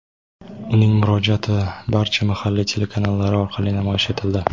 Uning murojaati barcha mahalliy telekanallari orqali namoyish etildi.